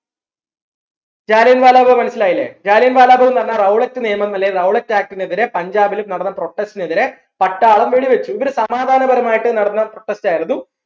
ജാലിയൻ വാല ബാഗ് മനസിലായില്ലേ ജാലിയൻ വാല ബാഗ്ന്ന് പറഞ്ഞ Rowlett നിയമം അല്ലെങ്കിൽ Rowlett act നെതിരെ പഞ്ചാബിൽ നടന്ന protest നെതിരെ പട്ടാളം വെടി വെച്ചു ഒരു സമാദാനപരമായിട്ട് നടന്ന ആയിരുന്നു